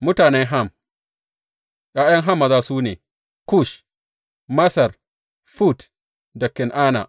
Mutanen Ham ’Ya’yan Ham maza su ne, Kush, Masar Fut da Kan’ana.